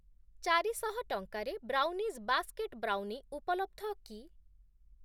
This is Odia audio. ଚାରିଶହ ଟଙ୍କାରେ ବ୍ରାଉନିଜ୍‌ ବାସ୍କେଟ୍‌ ବ୍ରାଉନି ଉପଲବ୍ଧ କି?